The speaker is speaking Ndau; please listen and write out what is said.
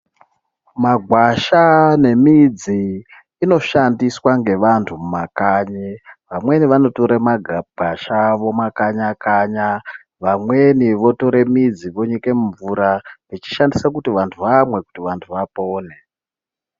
Magwasha nemidzi inoshandiswa ngevantu mumakanyi vamweni vanotore magwasha vomakanya-kanya vamweni votore midzi vonyike mumvura vechishandisa kuti vantu vamwe kuti vantu vapone.